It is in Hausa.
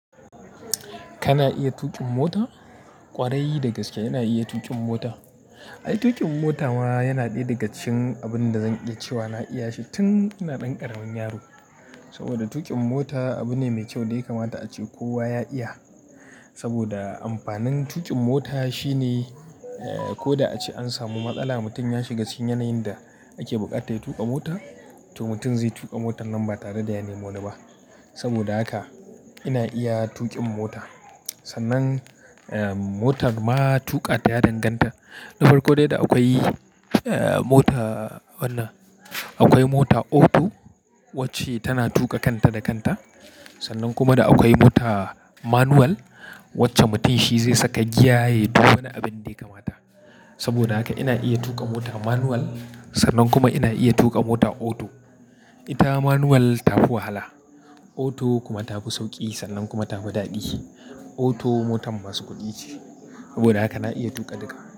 Kana iya tuƙin mota? Ƙwarai dagaske ina iya tuƙin mota. Ai tuƙin mota ma yana ɗaya daga cikin abun da zanƙi cewa na iya shi tun ina ɗan ƙaramin yaro. Saboda tuƙin mota abu ne mai kyau dai kamata ace kowa ya iya. Saboda amfanin tuƙin mota shine eh ko da ace an samu matsala mutum ya shiga cikin yanayin da ake buƙata ya tuƙa mota, to mutum zai tuƙa motan nan ba tare da ya nemo ne ba. Saboda haka ina iya tuƙin mota. Sannan eh motar ma tuƙa ta ya danganta. Na farko dai da akwai eh mota wannan, akwai mota auto wacce tana tuƙa kanta da kanta. Sannan kuma da akwai mota manual wacce mutum shi zai saka giya ya yi duka wani abin dai kamata. Saboda haka ina iya tuƙa mota manual sannan kuma ina iya tuƙa mota auto. Ita manual ta fi wahala auto kuma ta fi sauƙi sannan kuma ta fi daɗi. Auto motar masu kuɗi ce. Saboda haka na iya tuƙa duka.